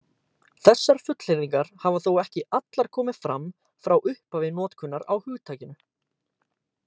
Þessar fullyrðingar hafa þó ekki allar komið fram frá upphafi notkunar á hugtakinu.